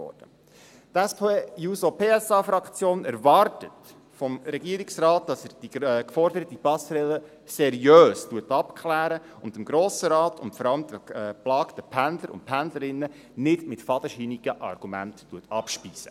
Die SP-JUSO-PSA-Fraktion erwartet vom Regierungsrat, dass er die geforderte Passerelle seriös abklärt und den Grossen Rat, und vor allem die geplagten Pendler und Pendlerinnen, nicht mit fadenscheinigen Argumenten abspeist.